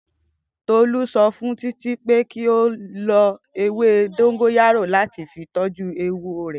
Tolu so fun Titi pe ki o lo ewe dongoyaro lati fi toju ewo re.